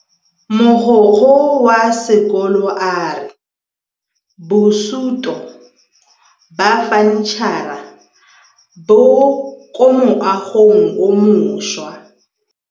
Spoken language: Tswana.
Mogokgo wa sekolo a re bosutô ba fanitšhara bo kwa moagong o mošwa.